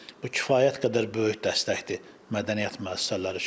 Bu kifayət qədər böyük dəstəkdir mədəniyyət müəssisələri üçün.